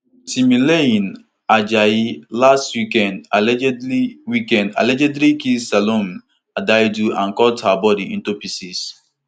timileyin ajayi last weekend allegedly weekend allegedly kill salome adaidu and cut her body into pieces